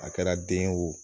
A kɛra den ye wo